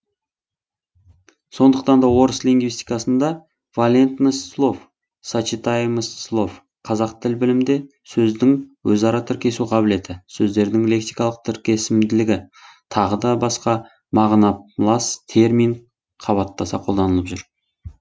сондықтан да орыс лингвистикасында валентность слов сочетаемость слов қазақ тіл білімінде сөздің өзара тіркесу қабілеті сөздердің лексикалық тіркесімділігі тағы басқа мағынамас термин қабаттаса қолданылып жүр